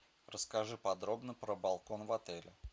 расскажи подробно про балкон в отеле